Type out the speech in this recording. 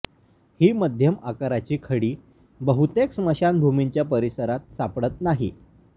ही मध्यम आकाराची खडी बहुतेक स्मशानभूमींच्या परिसरात सापडत नाही